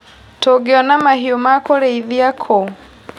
Tũngĩona mahiũ ma kũrĩithia kũ.